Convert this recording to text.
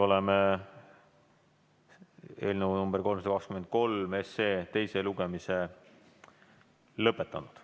Oleme eelnõu 323 teise lugemise lõpetanud.